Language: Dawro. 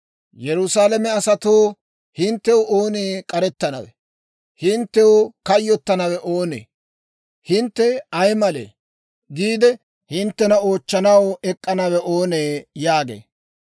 «Yerusaalame asatoo, hinttew oonee k'arettanawe? Hinttew kayyotanawe oonee? ‹Hintte ay malee?› giide hinttena oochchanaw ek'k'anawe oonee?» yaagee.